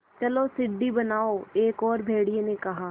चलो सीढ़ी बनाओ एक और भेड़िए ने कहा